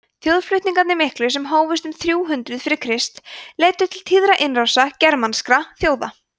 þjóðflutningarnir miklu sem hófust um þrjú hundruð fyrir krist leiddu til tíðra innrása germanskra þjóða